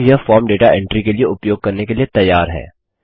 अब यह form data entry के लिए उपयोग करने के लिए तैयार है